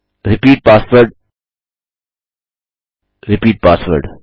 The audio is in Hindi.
repeat password repeat password